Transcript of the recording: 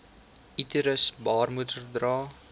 uterus baarmoeder dra